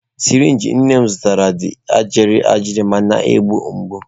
sirinji nne m zụtara dị gịrịgịrị ma na-egbu mgbu.